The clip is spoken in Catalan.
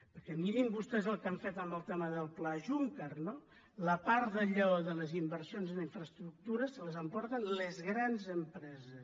perquè mirin vostès el que han fet amb el tema del pla juncker no la part del lleó de les inversions en infraestructures se l’emporten les grans empreses